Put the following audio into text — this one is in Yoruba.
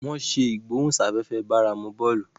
wón ṣe igbohunsafefe báramu bóòlù.